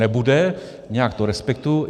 Nebude, nějak to respektuji.